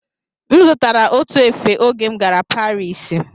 M zụtara otu efe oge m gara Parisi